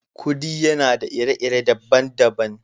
Kudi yana da ire-ire dabban dabban.